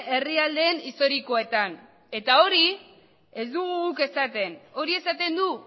herrialde historikoetan eta hori ez dugu guk esaten hori esaten du